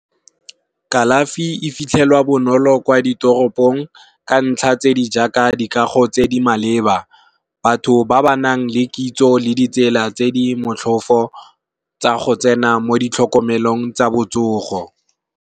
Kalafi e fitlhelwa bonolo kwa ditoropong ka ntlha tse di jaaka dikago tse di maleba. Batho ba ba nang le kitso le ditsela tse di motlhofo, tsa go tsena mo di tlhokomelong tsa botsogo.